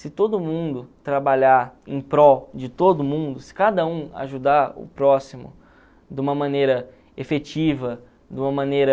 Se todo mundo trabalhar em prol de todo mundo, se cada um ajudar o próximo de uma maneira efetiva, de uma maneira...